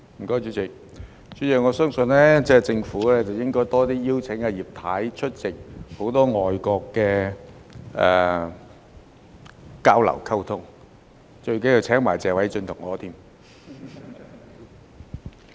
代理主席，我相信政府應該多些邀請葉太出席多些與外國的交流和溝通，最重要的是要一併邀請謝偉俊議員和我。